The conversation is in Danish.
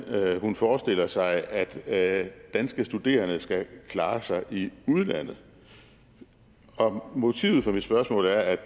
hun forestiller sig at danske studerende skal klare sig i udlandet motivet for mit spørgsmål er at